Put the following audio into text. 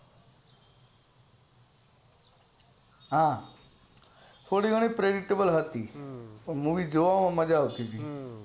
હા થોડી ઘણી perdictable હાવી movie જોવામાં મજ્જા આવતી હતી